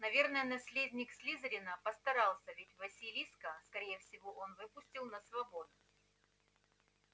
наверное наследник слизерина постарался ведь василиска скорее всего он выпустил на свободу